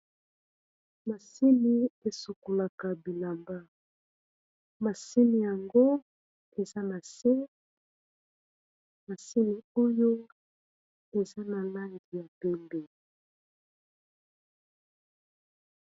masini esokolaka bilamba ,masini yango eza na se masini oyo eza na langi ya pembe